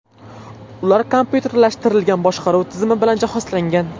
Ular kompyuterlashtirilgan boshqaruv tizimi bilan jihozlangan.